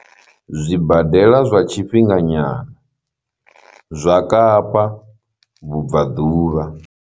Zwibadela zwa tshifhinganyana zwa Kapa vhubvaḓuvha.